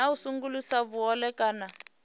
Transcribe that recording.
na u sengulusa vhuhole kana